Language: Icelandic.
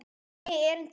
Einnig erindi í útvarp.